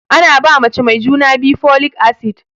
Ana ba mace mai juna biyu folic acid